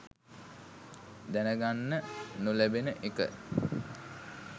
දැන ගන්න නොලැබෙන එක.